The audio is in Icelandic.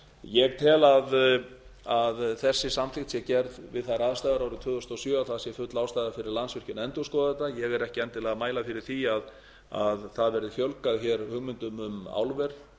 ég tel að þessi samþykkt sé gerð við þær aðstæður árið tvö þúsund og sjö að full ástæða sé fyrir landsvirkjun að endurskoða þetta ég er ekki endilega að mæla fyrir því að það verði fjölgað hugmyndum um álver